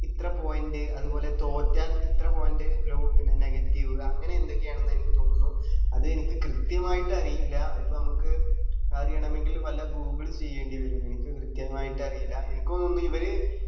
ഇത്ര point അത് പോലെ തോറ്റാൽ ഇത്ര point ലോ പിന്നെ negative അങ്ങനെ എന്തൊക്കെയോ ആണെന്ന് എനിക്ക് തോന്നുന്നു അത് എനിക്ക് കൃത്യമായിട്ട് അരിയില്ല അത് ഇപ്പൊ നമ്മക്ക് അറിയണമെങ്കിൽ വല്ല google ചെയ്യണ്ടി വരും എനിക്ക് കൃത്യമായിട്ട് അറിയില്ല എനിക്ക് തോന്നുന്നു ഇവര്